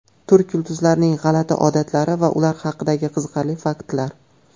Turk yulduzlarining g‘alati odatlari va ular haqidagi qiziqarli faktlar.